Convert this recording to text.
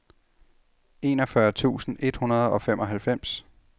enogfyrre tusind et hundrede og femoghalvfems